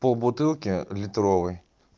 полбутылки литровой